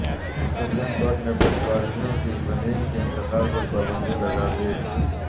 supreme court نے پٹواریوں کے زمین کے انتقال پرپابندی لگا دی